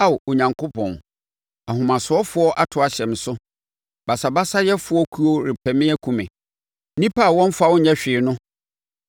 Ao Onyankopɔn, ahomasofoɔ ato ahyɛ me so; basabasayɛfoɔ kuo repɛ me akum me, nnipa a wɔmmfa wo nyɛ hwee no.